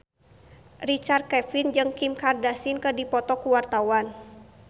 Richard Kevin jeung Kim Kardashian keur dipoto ku wartawan